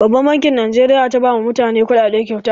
Babbar bankin Najeriya za ta ba ma mutane kuɗaɗe kyauta